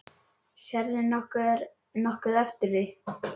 Sérðu nokkuð eftir því?